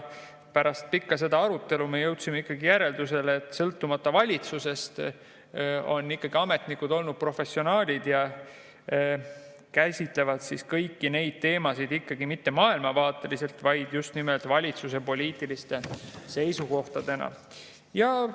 Pärast pikka arutelu me jõudsime ikkagi järeldusele, et sõltumata valitsusest on ametnikud olnud professionaalid ja käsitlevad kõiki neid teemasid ikkagi mitte maailmavaateliselt, vaid just nimelt valitsuse poliitiliste seisukohtadena.